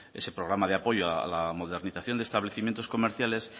ese programa de apoyo a la modernización de establecimientos comerciales